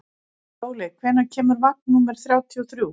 Sóley, hvenær kemur vagn númer þrjátíu og þrjú?